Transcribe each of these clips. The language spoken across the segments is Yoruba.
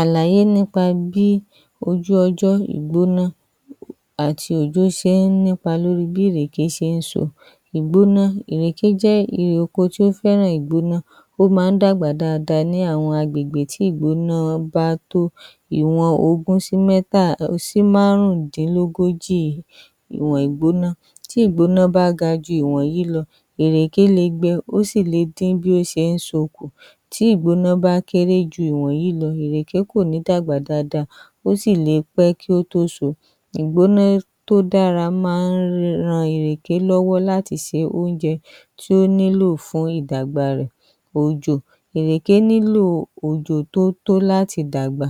Àlàyé nípa bí ojú ọjọ́ ìgbóná àti òjò ṣe nípa lórí bí ìrèké ṣe ń sò. Ìgbóná. Ìrèké jẹ́ eré oko tí ó fẹ́ràn ìgbóná. Ó máa ń dàgbàdáda ní àwọn agbègbè tí ìgbóná bá tó ìwọ̀n ogún sí márùndínlógójì ìwọ̀n ìgbóná. Tí ìgbóná bá ga jù ìwọ̀nyí lọ, ìrèké lè gbẹ́, ó sì le dín bí ó ṣe ń sòkù. Tí ìgbóná bá kéré jù ìwọ̀nyí lọ, ìrèké kò ní dàgbàdáda, ó sì le pẹ́ kí ó tó sò. Ìgbóná tó dára máa ń ràn ìrèké lọ́wọ́ láti ṣe oúnjẹ tí ó nílò fún ìdàgbà rẹ̀. Òjò. Ìrèké nílò òjò tó tó láti dàgbà.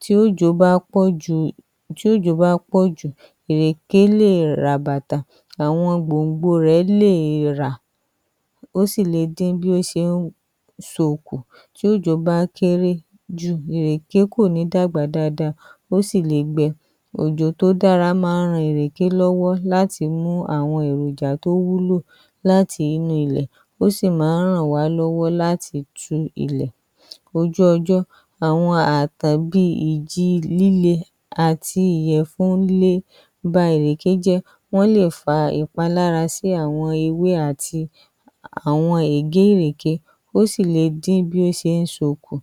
Tí òjò bá pọ̀ jù, tí òjò bá pọ̀ jù, ìrèké lè ràbàtà, àwọn gbòǹgbò rẹ̀ lè rà, ó sì le dín bí ó ṣe ń sòkù. Tí òjò bá kéré jù, ìrèké kò ní dàgbàdáda, ó sì le gbẹ́. Òjò tó dára máa ń ràn ìrèké lọ́wọ́ láti mú àwọn èròjà tó wúlò láti inú ilẹ̀, ó sì máa ń ràn wá lọ́wọ́ láti tú ilẹ̀. Ojú ọjọ́. Àwọn àtàbí ìjì líle àti ìyẹ̀fun lè bá ìrèké jẹ́, wọ́n lè fà ìpalára sí àwọn ewé àti àwọn ègé ìrèké, ó sì le dín bí ó ṣe ń sòkù.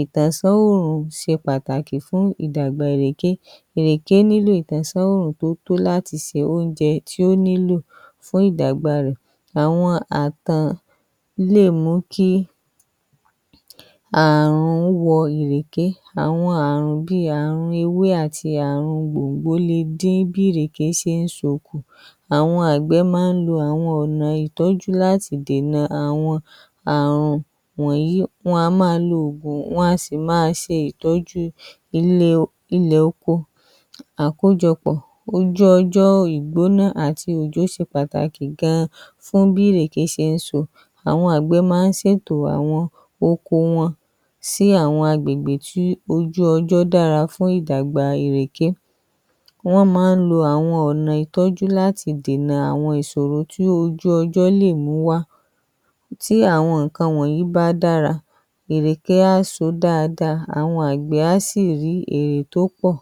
Ìtànṣá oòrùn ṣe pàtàkì fún ìdàgbà ìrèké. Ìrèké nílò ìtànṣá oòrùn tó tó láti ṣe oúnjẹ tí ó nílò fún ìdàgbà rẹ̀. Àwọn àtàn lè mú kí àrùn wọ ìrèké. Àwọn àrùn bíi àrùn ewé àti àrùn gbòǹgbò le dín bí ìrèké ṣe ń sòkù. Àwọn àgbé máa ń lo àwọn ọ̀nà ìtọ́jú láti dènà àwọn àrùn wọ̀nyí. Wọ́n a máa lo ògùn, wọ́n sì máa ṣe ìtọ́jú ilẹ̀ ilẹ̀ oko. Àkójọpọ̀, ojú ọjọ́ ìgbóná àti òjò ṣe pàtàkì gan-an fún bí ìrèké ṣe ń sò. Àwọn àgbé máa ń ṣètò àwọn oko wọn sí àwọn agbègbè tí ojú ọjọ́ dára fún ìdàgbà ìrèké. Wọ́n máa ń lo àwọn ọ̀nà ìtọ́jú láti dènà àwọn ìṣòro tí ojú ọjọ́ lè mú wá. Tí àwọn nǹkan wọ̀nyí bá dára, ìrèké á sò dáadáa. Àwọn àgbé á sì rí èrè tó pọ̀.